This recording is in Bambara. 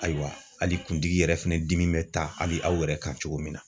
Ayiwa hali kuntigi yɛrɛ fɛnɛ dimi be taa hali aw yɛrɛ kan cogo min na